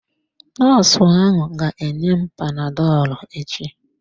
Nọọsụ ahụ ga-enye m panadọlụ echi.